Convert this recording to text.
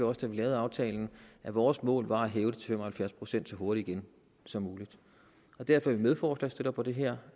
også da vi lavede aftalen at vores mål var at hæve det til fem og halvfjerds procent igen så hurtigt som muligt derfor er vi medforslagsstillere på det her